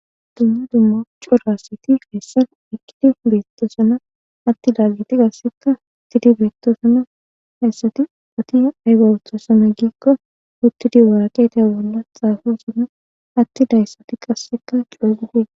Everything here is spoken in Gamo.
Dumma dumma corasiti feessan ikidi beettosana atti daaggiti gassekka tidi beettosana hassati oti aygawutosana giikko uttidi waraqeta bolla xaafosana atti dayssati qasseka cogidie.